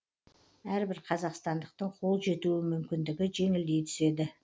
әрбір қазақстандықтың қол жетуі мүмкіндігі жеңілдей түседі